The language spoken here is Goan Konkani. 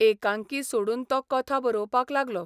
एकांकी सोडून तो कथा बरोवपाक लागलो.